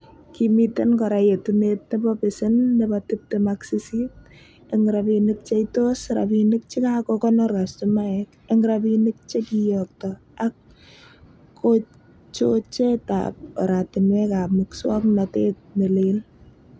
Kimiten kora yetunet nebo pasen nebo tibtem ak sisit, en rabinik cheitois rabinik chekakonor kastomaek, en rabinik che kiyokto ak kochochetab oratinwekab muswog'notet ne leel.